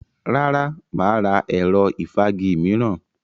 Rárá, mà á ra ẹ̀rọ ìfági mìíràn.